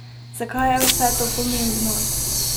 Zakaj je vse to pomembno?